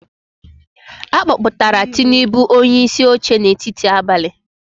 A kpọpụtara Tinubu onyeisi oche n’etiti abalị.